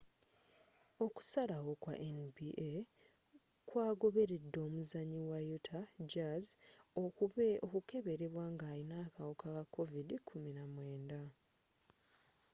okusalawo kwa nba kwa goberedde omuzanyi wa utah jazz okukeberebwa nga alina akawuka ka covid-19